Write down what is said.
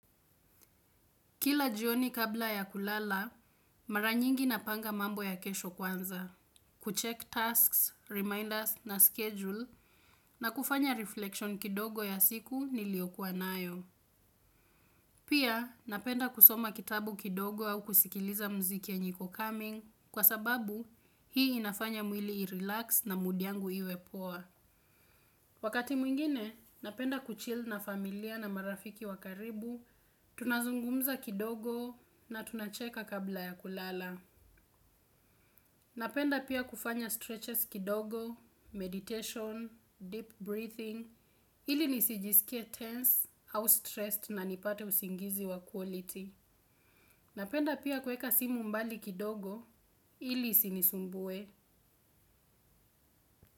Kila jioni kabla ya kulala, mara nyingi napanga mambo ya kesho kwanza. Kucheck tasks, reminders na schedule na kufanya reflection kidogo ya siku niliyokuwa nayo. Pia napenda kusoma kitabu kidogo au kusikiliza mziki yenye iko coming kwa sababu hii inafanya mwili i-relax na mood yangu iwe poa. Wakati mwingine, napenda kuchill na familia na marafiki wa karibu, tunazungumza kidogo na tunacheka kabla ya kulala. Napenda pia kufanya stretches kidogo, meditation, deep breathing, ili nisijiskie tensed au stressed na nipate usingizi wa quality. Napenda pia kuweka simu mbali kidogo ili isinisumbue.